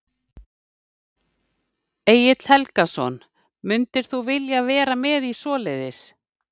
Egill Helgason: Mundir þú vilja vera með í svoleiðis?